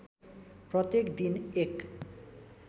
प्रत्येक दिन १